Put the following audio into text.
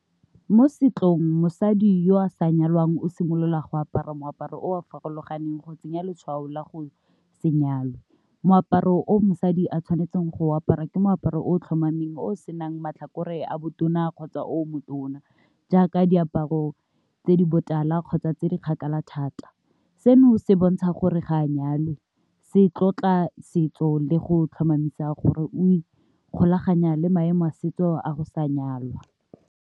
Mo setsong mosadi yo a sa nyalwang o simolola go apara moaparo o a farologaneng go tsenya letshwao la go se nyalwa, moaparo o mosadi a tshwanetseng go apara ke moaparo o tlhomameng o senang matlhakore a botona kgotsa o motona. Jaaka diaparo tse di botala kgotsa tse di kgakala thata, seno se bontsha gore ga a nyalwa se tlotla setso le go tlhomamisa gore o ikgolaganya le maemo a setso a go sa nyalwa.